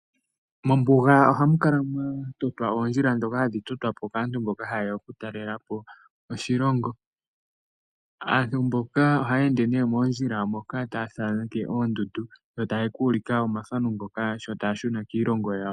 Mombuga ohamu adhikwa oondjila dhoka hadhi totwapo kaantu mboka haye ya okutalelapo oshilongo. Aantu mboka ohaya ende nee moondjila moka taya thaneke oondundu, yo taya ka ulika omathano ngoka sho taya shuna kiilongo yawo.